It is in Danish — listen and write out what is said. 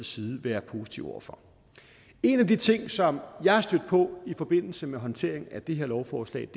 side være positive over for en af de ting som jeg er stødt på i forbindelse med håndteringen af det her lovforslag